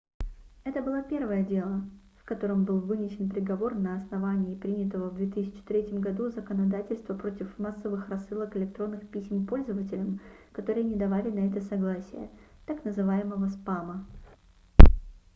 это было первое дело в котором был вынесен приговор на основании принятого в 2003 году законодательства против массовых рассылок электронных писем пользователям которые не давали на это согласие так называемого спама